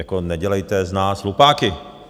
Jako nedělejte z nás hlupáky.